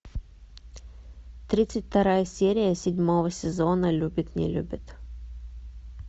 тридцать вторая серия седьмого сезона любит не любит